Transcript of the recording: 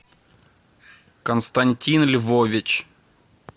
константин львович